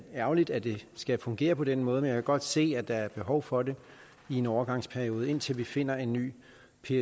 ærgerligt at det skal fungere på den måde men jeg kan godt se at der er behov for det i en overgangsperiode indtil vi finder en ny